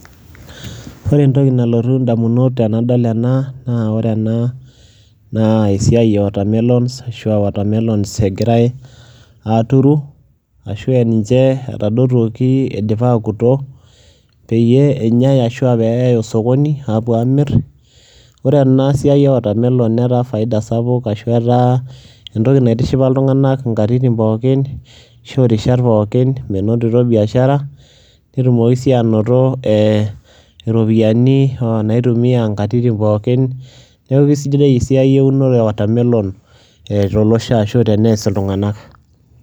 ore entoki nalotu damunot tenadol ena ,naa ore ena naa esiai e watermelons ashu aa watermelons egirae aaturu, ashu aa ninche etadotuoki eidipa aakuto, peyie enyae ashu eyae osokoni aapuo aamir, ore ena siai e watermelon netaa faida sapuk ashu etaa, entoki naitishipa iltungank inkatitin pookin, menotito biashara, netumoki sii anoto iropiyiani, naitumia nkatitin pookin, neekiu ididai esiai eunore e watermelon tolosho ashu tenees iltunganak.